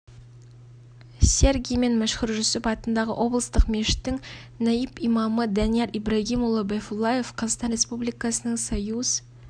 сергий мен мәшһүр жүсіп атындағы облыстық мешіттің наиб имамы данияр ибрагимұлы байфуллаев қазақстан республикасының союз